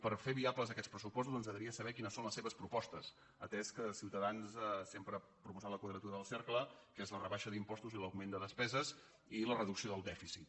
per fer viables aquests pressupostos ens agradaria saber quines són les seves propostes atès que ciutadans sempre ha pro·posat la quadratura del cercle que és la rebaixa d’im·postos l’augment de despeses i la reducció del dèfi·cit